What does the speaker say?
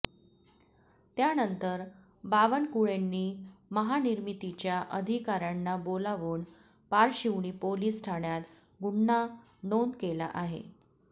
त्यानंतर बावणकुळेंनी महानिर्मितीच्या अधिकाऱ्यांना बोलवून पारशिवनी पोलीस ठाण्यात गुन्हा नोंद केला आहे